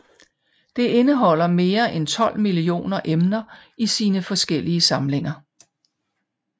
Det indeholder mere end 12 millioner emner i sine forskellige samlinger